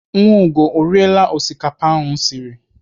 Nwaugo ọ riela osikapa m siri?